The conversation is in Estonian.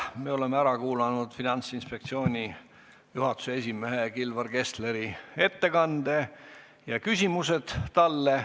Me oleme ära kuulanud Finantsinspektsiooni juhatuse esimehe Kilvar Kessleri ettekande ja küsimused talle.